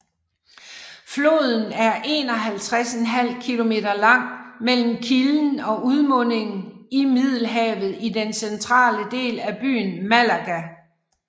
Floden er 51½ kilometer lang mellem kilden og udmunding i Middelhavet i den centrale del af byen Málaga